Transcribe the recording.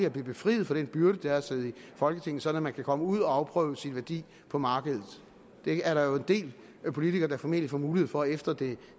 at blive befriet for den byrde det er at sidde i folketinget så man kan komme ud og afprøve sin værdi på markedet det er der jo en del politikere der formentlig får mulighed for efter det